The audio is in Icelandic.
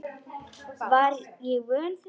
Var ég vön því?